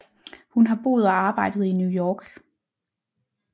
Hun har boet og arbejdet i New York